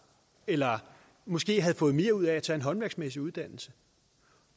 eller måske havde fået mere ud af at tage en håndværksmæssig uddannelse